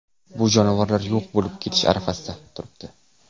Bu jonivorlar yo‘q bo‘lib ketish arafasida turibdi.